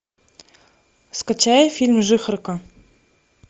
скачай фильм жихарка